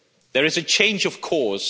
There is a change of course